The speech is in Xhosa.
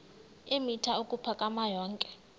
eemitha ukuphakama yonke